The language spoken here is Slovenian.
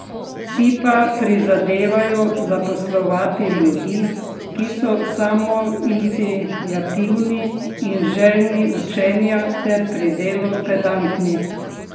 Si pa prizadevajo zaposlovati ljudi, ki so samoiniciativni in željni učenja ter pri delu pedantni.